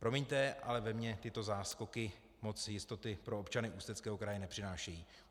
Promiňte, ale ve mně tyto záskoky moc jistoty pro občany Ústeckého kraje nepřinášejí.